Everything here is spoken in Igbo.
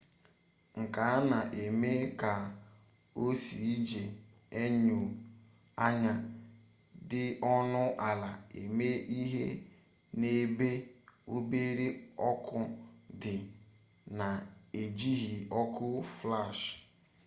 nke a na-eme ka o sie iji enyo anya dị ọnụ ala eme ihe n'ebe obere ọkụ dị na-ejighi ọkụ flash